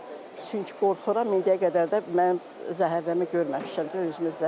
Çünki qorxuram, indiyə qədər də mənim zəhərləmə görməmişəm də özümdə.